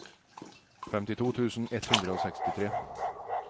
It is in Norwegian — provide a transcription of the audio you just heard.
femtito tusen ett hundre og sekstitre